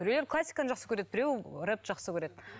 біреулер классиканы жақсы көреді біреу рэп жақсы көреді